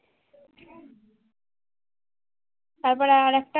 তারপরে আরেকটা